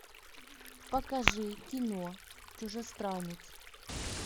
покажи кино чужестранец